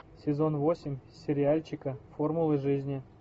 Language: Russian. сезон восемь сериальчика формулы жизни